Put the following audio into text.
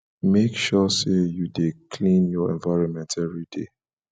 make sure say you de clean your environment every day